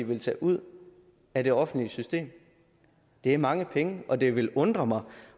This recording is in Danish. vil tage ud af det offentlige system det er mange penge og det vil undre mig